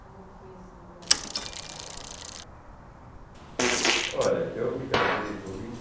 Como é que foi esse encontro com essa mulher amada? Olha, eu me casei com vinte e